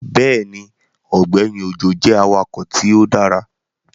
Bẹẹni, Ọgbẹni Ojo jẹ awakọ ti o dara